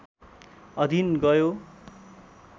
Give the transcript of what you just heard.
अधीन गयो